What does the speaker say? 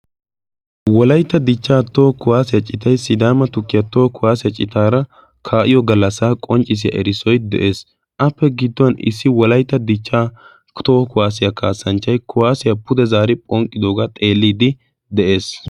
wolaitta dichchaa too kuwaasiyaa citai sidaama tukkiyaa too kuwaasiyaa citaara kaa7iyo gallassaa qonccissiyaa erissoi de7ees appe gidduwan issi wolaita dichchaa toohuwa kuwaasiyaa kaasanchchai kuwaasiyaa pude zaari phonqqidoogaa xeelliiddi de7ees